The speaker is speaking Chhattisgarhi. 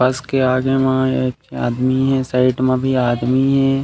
बस के आगे म एक आदमी हे साइड म भी आदमी हे।